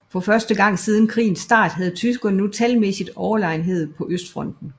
For første gang siden krigens start havde tyskerne nu talmæssig overlegenhed på Østfronten